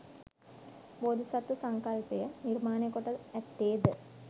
බෝධිසත්ව සංකල්පය නිර්මාණය කොට ඇත්තේ ද